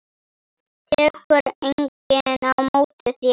Tekur enginn á móti þér?